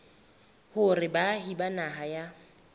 hore baahi ba naha ya